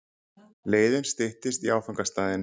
Leiðin styttist í áfangastaðinn.